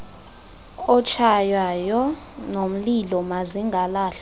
otshaywayo nomlilo mazingalahlwa